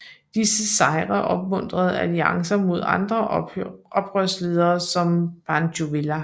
Disse sejre opmuntrede alliancer med andre oprørsledere som Pancho Villa